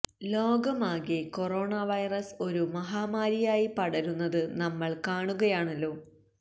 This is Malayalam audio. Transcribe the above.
ലോകമാകെ കൊറോണ വൈറസ് ഒരു മഹാമാരിയായി പടരുന്നത് നമ്മള് കാണുകയാണല്ലോ